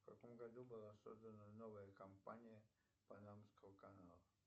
в каком году была создана новая компания панамского канала